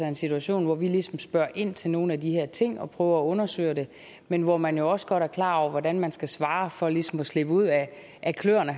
en situation hvor vi ligesom spørger ind til nogle af de her ting og prøver at undersøge dem men hvor man jo også godt er klar over hvordan man skal svare for ligesom at slippe ud af kløerne